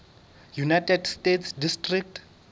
united states district